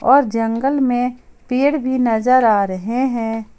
और जंगल में पेड़ भी नजर आ रहे हैं।